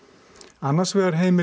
annars vegar heimili